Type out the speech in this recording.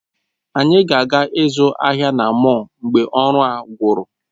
Anyị ga-aga ịzụ ahịa na mọl mgbe ọrụ a gwụrụ